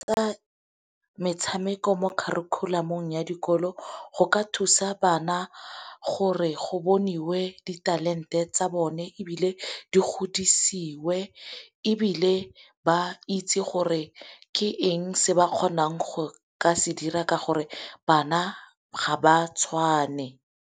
metshameko mo kharikhulamong ya dikolo go ka thusa bana gore go boniwe ditalente tsa bone ebile di godisiwe, ebile ba itse gore ke eng se ba kgonang ka se dira ka gore bana ga ba tshwane.